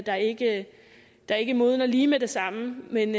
der ikke der ikke modner lige med det samme men